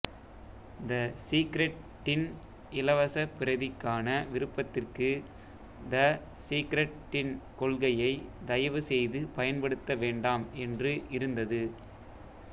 த secret டின் இலவச பிரதிக்கான விருப்பத்திற்கு த சீக்ரெட் டின் கொள்கையை தயவுசெய்து பயன்படுத்த வேண்டாம் என்று இருந்தது